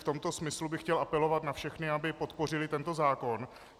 V tomto smyslu bych chtěl apelovat na všechny, aby podpořili tento zákon.